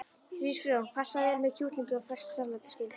Hrísgrjón passa vel með kjúklingi og ferskt salat er skylda.